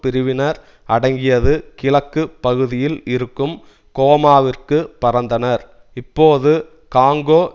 பிரிவினர் அடங்கியது கிழக்கு பகுதியில் இருக்கும் கோமாவிற்கு பறந்தனர் இப்போது காங்கோ